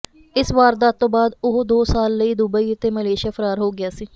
ਇਸ ਵਾਰਦਾਤ ਤੋਂ ਬਾਅਦ ਉਹ ਦੋ ਸਾਲ ਲਈ ਦੁਬਈ ਅਤੇ ਮਲੇਸ਼ੀਆ ਫਰਾਰ ਹੋ ਗਿਆ ਸੀ